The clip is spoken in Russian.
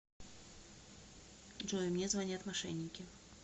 джой мне звонят мошенники